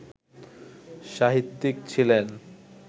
সাহিত্যিক ছিলেন